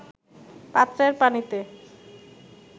পাত্রের পানিতে